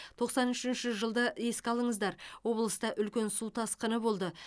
тоқсан үшінші жылды еске алыңыздар облыста үлкен су тасқыны болды